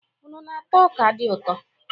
Unu na-ata ọ́kà di ụtọ?